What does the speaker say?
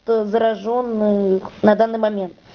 заражённых на данный момент